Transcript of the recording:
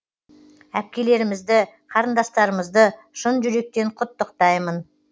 әпкелерімізді қарындастарымызды шын жүректен құттықтаймын